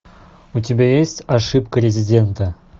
у тебя есть ошибка резидента